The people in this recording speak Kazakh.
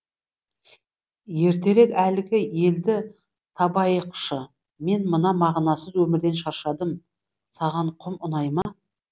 ертерек әлгі елді табайықшы мен мына мағынасыз өмірден шаршадым саған құм ұнай ма